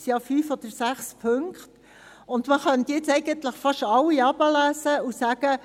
Es sind ja fünf oder sechs Punkte, und man könnte nun fast alle herunterlesen und sagen: